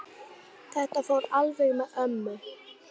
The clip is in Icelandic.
Þetta fór alveg með ömmu.